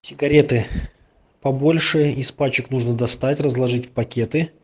сигареты побольше из пачек нужно достать разложить в пакеты